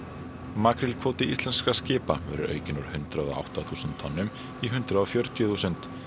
makrílkvóti íslenskra skipa verður aukinn úr hundrað og átta þúsund tonnum í hundrað og fjörutíu þúsund